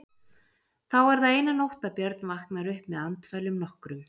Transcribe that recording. Þá er það eina nótt að Björn vaknar upp með andfælum nokkrum.